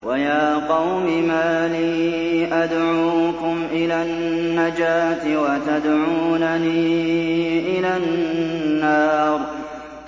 ۞ وَيَا قَوْمِ مَا لِي أَدْعُوكُمْ إِلَى النَّجَاةِ وَتَدْعُونَنِي إِلَى النَّارِ